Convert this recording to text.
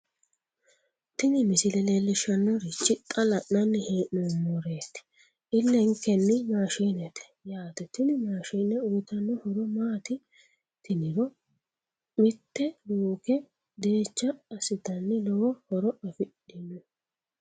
tini misile leellishshannorichi xa la'nanni hee'noommoti illenkenni maashinete yaate tini maashine uyiitanno horo maati tiniro mitte luuke deecha assitanno lowo horo afidhino.